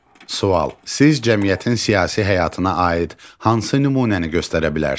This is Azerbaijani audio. Sual: Siz cəmiyyətin siyasi həyatına aid hansı nümunəni göstərə bilərsiniz?